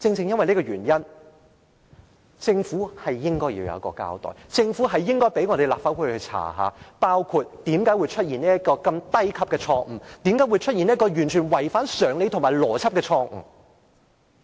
因此，政府應該要作出交代，應該讓立法會進行調查，包括為何會出現這個低級錯誤，為何會出現這個完全違反常理和邏輯的錯誤。